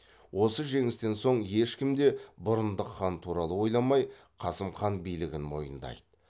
осы жеңістен соң ешкім де бұрындық хан туралы ойламай қасым хан билігін мойындайды